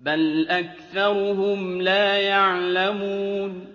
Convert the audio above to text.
بَلْ أَكْثَرُهُمْ لَا يَعْلَمُونَ